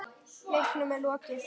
Leiknum er lokið.